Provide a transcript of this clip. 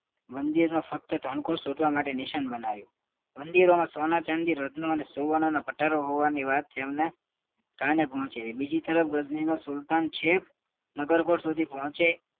મંદિરોમાં ફક્ત ધન કોસ્ટ લૂટવા માટે નિશાન બનાવ્યું મંદિરોમાં સોના ચાંદી અને રત્નો અને સુવર્ણ પટારો હોવાની વાત તેમાંને કાને પોહચે બીજી તરફ ગજની નો સુલતાન છેક નગર કોર્ટ સુધી પોહચે